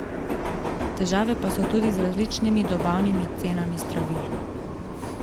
Težave pa so tudi z različnimi dobavnimi cenami zdravil.